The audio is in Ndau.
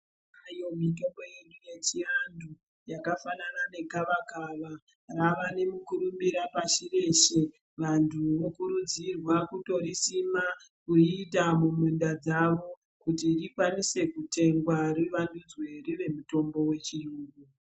Tinayo mitombo yedu yechiantu yakafana negavakava iri rava nemukurumbira pashi reshe. Vanhu vanokurudzirwa kutorisima kuriita muminda dzavo kuti rikwanise kutengwa rivandidzwe rive mitombo yechiyungu.